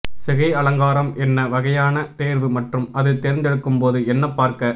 சிகை அலங்காரம் என்ன வகையான தேர்வு மற்றும் அது தேர்ந்தெடுக்கும் போது என்ன பார்க்க